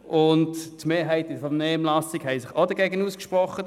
Auch hat sich die Mehrheit in der Vernehmlassung dagegen ausgesprochen.